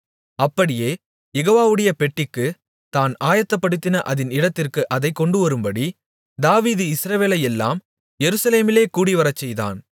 அப்படியே யெகோவாவுடைய பெட்டிக்குத் தான் ஆயத்தப்படுத்தின அதின் இடத்திற்கு அதைக் கொண்டுவரும்படி தாவீது இஸ்ரவேலையெல்லாம் எருசலேமிலே கூடிவரச்செய்தான்